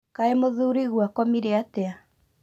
Kaĩ mũthurigwo akomire atĩa